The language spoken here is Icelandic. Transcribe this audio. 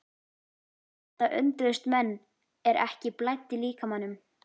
En það undruðust menn er ekki blæddi líkamanum.